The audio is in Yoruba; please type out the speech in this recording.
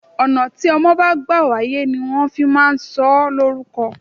Ọ̀nà tí ọmọ bá gbà wáyé ni wọn fi máa ń sọ ó lórúko.